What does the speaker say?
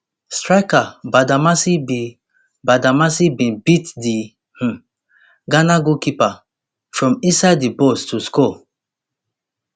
striker badamassi bin badamassi bin beat di um ghana goalkeeper from inside di box to score